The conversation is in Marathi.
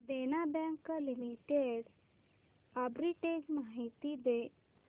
देना बँक लिमिटेड आर्बिट्रेज माहिती दे